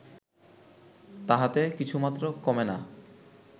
তাহাতে কিছুমাত্র কমে না